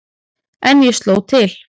En ég sló til.